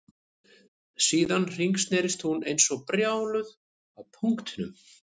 Síðan hringsnerist hún eins og brjáluð á punktinum